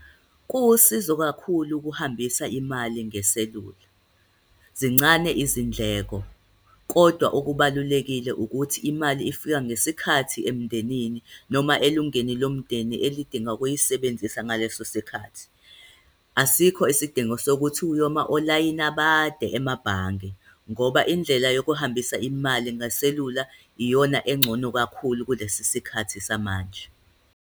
Kuwusizo kakhulu ukuhambisa imali ngeselula. Zincane izindleko, kodwa okubalulekile ukuthi imali ifika ngesikhathi emndenini noma elungeni lomndeni elidinga ukuyisebenzisa ngaleso sikhathi. Asikho isidingo sokuthi uyoma olayini abade emabhange, ngoba indlela yokuhambisa imali ngeselula iyona engcono kakhulu kulesi sikhathi samanje.